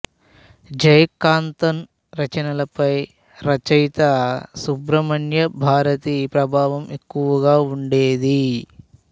జయకాంతన్ రచనలపై రచయిత సుబ్రమణ్య భారతి ప్రభావం ఎక్కువగా ఉండేది